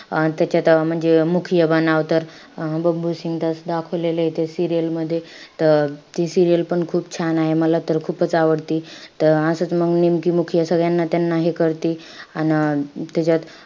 अं त्याच्यात अं म्हणजे मुखिया बनावं तर अं बबलू सिंग. त असं दाखवलेलंय serial मध्ये. त ती serial पण खूप छान आहे. मला तर खूपच आवडती. त अं असंच मंग निमकी मुखिया सगळ्यांना त्यांना हे करती. अन अं त्याच्यात,